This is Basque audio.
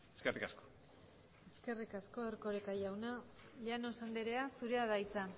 eskerrik asko eskerrik asko erkoreka jauna llanos andrea zurea da hitza